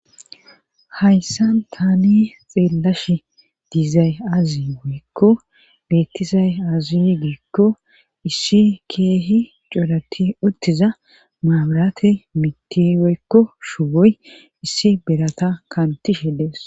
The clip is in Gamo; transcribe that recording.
Hayssan tani xeellash diizay azi woykko beettisay azi giekko issi keehi corati uttiza maabarate mitti weykko shuwoy issi berata kantihe dees.